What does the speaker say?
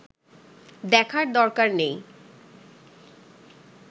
দেখার দরকার নেই